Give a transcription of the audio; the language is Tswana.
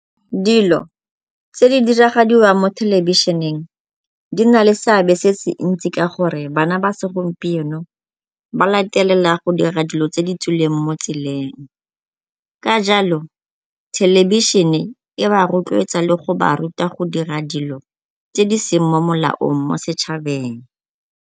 Dilo tse di diragadiwang mo thelebišeneng di na le seabe se se ntsi ka gore bana ba segompieno ba latelela go dira dilo tse di tswileng mo tseleng, ka jalo thelebišene e ba rotloetsa le go ba ruta go dira dilo tse di seng mo molaong mo setšhabeng.